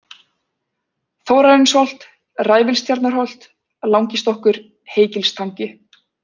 Þórarinsholt, Ræfilstjarnarholt, Langistokkur, Heygilstangi